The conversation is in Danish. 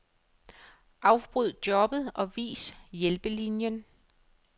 Afbryd jobbet og vis hjælpelinien.